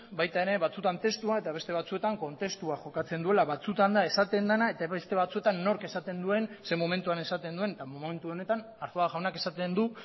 baita ere batzutan testua eta beste batzuetan kontestua jokatzen duela batzutan da esaten dena eta beste batzuetan nork esaten duen zein momentuan esaten duen eta momentu honetan arzuaga jauna esaten du